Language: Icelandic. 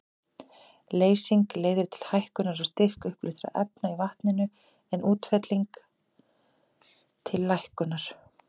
Leysing leiðir til hækkunar á styrk uppleystra efna í vatninu, en útfelling til lækkunar.